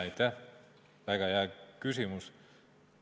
Aitäh, väga hea küsimus!